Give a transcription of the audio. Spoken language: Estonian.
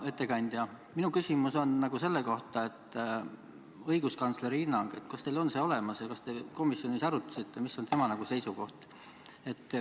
Hea ettekandja, minu küsimus on selle kohta, kas õiguskantsleri hinnang on olemas ja kas te komisjonis arutasite, mis on tema seisukoht.